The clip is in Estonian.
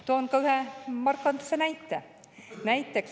Toon ka ühe markantse näite.